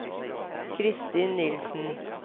Christin Nielsen